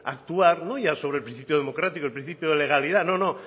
actuar no ya sobre el principio democrático el principio de legalidad no no